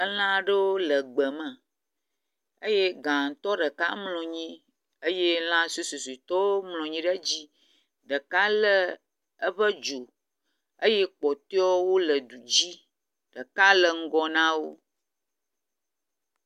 Elã aɖewo le egbe me eye gãtɔ ɖeka mlɔ anyi eye lã suesuesuetɔwo mlɔ anyi ɖe edzi. Ɖeka le eƒe dzo eye kpɔtɔewo le du dzi. Ɖeka le ŋgɔ na wo.